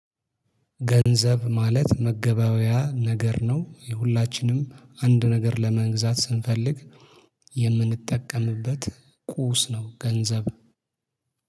ገንዘብ ማለት መገበያያ ነገር ነው። የሁላችንም አንድ ነገር ለመግዛት ስንፈልግ የምንጠቀምበት ቁስ ነው ገንዘብ።